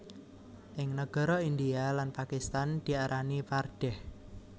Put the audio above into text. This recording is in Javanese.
Ing nagara India lan Pakistan diarani pardeh